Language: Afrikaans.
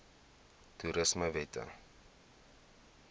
toerismewette